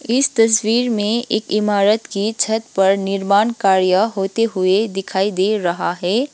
इस तस्वीर में एक इमारत की छत पर निर्माण कार्य होते हुए दिखाई दे रहा है।